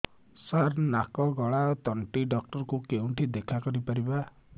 ସାର ନାକ ଗଳା ଓ ତଣ୍ଟି ଡକ୍ଟର ଙ୍କୁ କେଉଁଠି ଦେଖା କରିପାରିବା